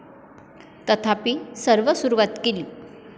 तथापि, सर्व सुरुवात केली?